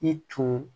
I tun